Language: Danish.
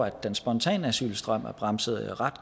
at den spontane asylstrøm er bremset